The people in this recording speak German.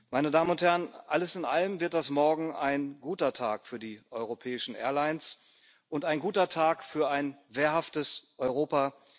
Meine Damen und Herren, alles in allem wird das morgen ein guter Tag für die europäischen Airlines und ein guter Tag für ein wehrhaftes Europa.